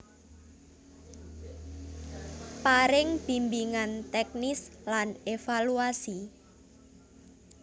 Paring bimbingan teknis lan evaluasi